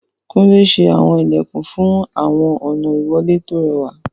Kúnlé ṣe àwọn ilẹ̀kùn igi fún àwọn ọ̀nà ìwọlé tó rẹwà.